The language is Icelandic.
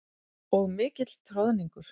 Og mikill troðningur.